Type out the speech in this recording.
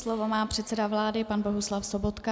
Slovo má předseda vlády pan Bohuslav Sobotka.